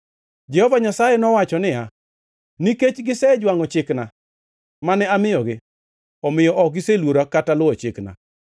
Jehova Nyasaye nowacho niya, “Nikech gisejwangʼo chikna, mane amiyogi; omiyo ok giseluora kata luwo chikna.